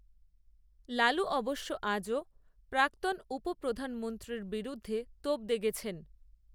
লালু অবশ্য আজও প্রাক্তন উপপ্রধানমন্ত্রীর বিরুদ্ধে তোপ দেগেছেন